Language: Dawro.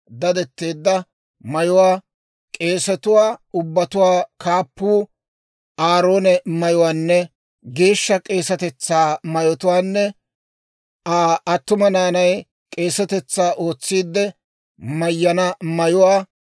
dadetteedda mayuwaa, k'eesatuwaa ubbatuwaa kaappuu Aaroone mayyana geeshsha k'eesatetsaa mayotuwaanne Aa attuma naanay k'eesatetsaa ootsiidde mayyana mayuwaa,